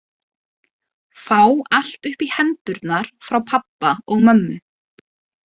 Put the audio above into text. Fá allt uppí hendurnar frá pabba og mömmu.